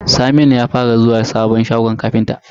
Saminu ya fara zuwa shagon ƙafinta.